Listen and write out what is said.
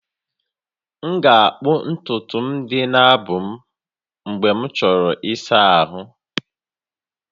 M ga-akpụ ntutu dị n'abụ m mgbe m chọrọ ịsa ahụ